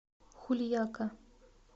хульяка